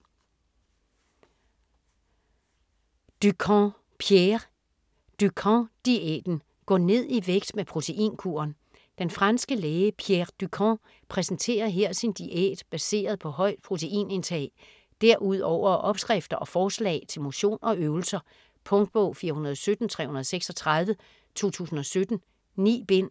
Dukan, Pierre: Dukan diæten: gå ned i vægt med proteinkuren Den franske læge Pierre Dukan præsenterer her sin diæt baseret på højt proteinindtag. Derudover opskrifter og forslag til motion og øvelser. Punktbog 417336 2017. 9 bind.